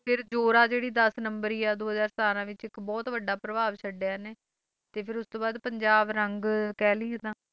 ਫਿਰ ਜੋਰਾ ਜਿਹੜੀ ਦਸ ਨੰਬਰੀ ਆ, ਦੋ ਹਜ਼ਾਰ ਸਤਾਰਾਂ ਵਿੱਚ ਇੱਕ ਬਹੁਤ ਵੱਡਾ ਪ੍ਰਭਾਵ ਛੱਡਿਆ ਇਹਨੇ, ਤੇ ਫਿਰ ਉਸ ਤੋਂ ਬਾਅਦ ਪੰਜਾਬ ਰੰਗ ਕਹਿ ਲਈਏ ਤਾਂ